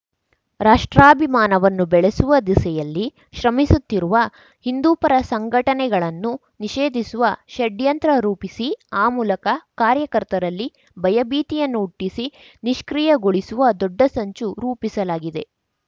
ರಾಷ್ಟ್ರಾಭಿಮಾನವನ್ನು ಬೆಳೆಸುವ ದಿಸೆಯಲ್ಲಿ ಶ್ರಮಿಸುತ್ತಿರುವ ಹಿಂದೂಪರ ಸಂಘಟನೆಗಳನ್ನು ನಿಷೇಧಿಸುವ ಷಡ್ಯಂತ್ರ ರೂಪಿಸಿ ಆ ಮೂಲಕ ಕಾರ್ಯಕರ್ತರಲ್ಲಿ ಭಯಭೀತಿಯನ್ನು ಹುಟ್ಟಿಸಿ ನಿಷ್ಕ್ರಿಯಗೊಳಿಸುವ ದೊಡ್ಡ ಸಂಚು ರೂಪಿಸಲಾಗಿದೆ